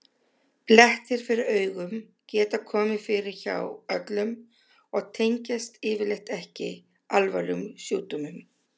Blettir fyrir augum geta komið fyrir hjá öllum og tengjast yfirleitt ekki alvarlegum sjúkdómum.